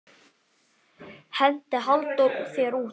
Henti Halldór þér út?